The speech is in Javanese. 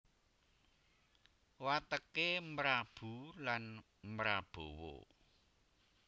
Wateké mrabu lan mrabawa